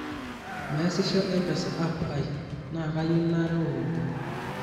meesisho mpesa app aai na kayieu nareow ropiyani